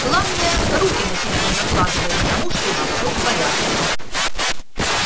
главное руки на себя не накладывай потому что уже всё в порядке